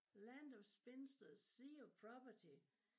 Land of Spinsters Sea of Property